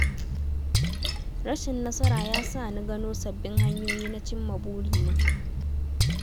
Rashin nasara ya sa ni gano sabbin hanyoyi na cimma burina.